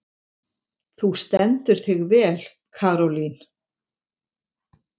Þú stendur þig vel, Karólín!